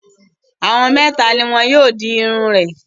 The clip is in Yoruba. Àwọn mẹ́ta ni wọn yóò di irun rẹ̀.